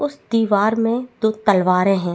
उस दीवार में दो तलवारे है।